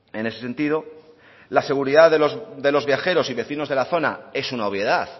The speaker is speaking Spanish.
en ese sentido la seguridad de los viajeros y vecinos de la zona es una obviedad